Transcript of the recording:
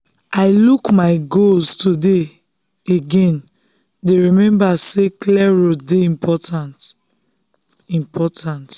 i look my goals again today dey remember say clear road dey important. important.